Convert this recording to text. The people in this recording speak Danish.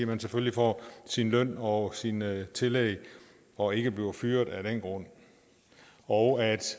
man selvfølgelig får sin løn og sine tillæg og ikke bliver fyret af den grund og